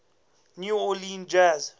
new orleans jazz